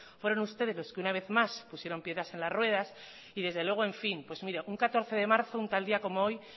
fueron ustedes los que una vez más pusieron piedras en las ruedas y desde luego un catorce de marzo un tal día como hoy